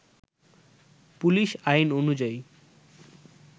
police আইন অনুযায়ী